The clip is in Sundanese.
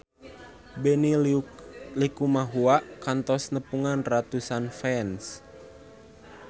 Benny Likumahua kantos nepungan ratusan fans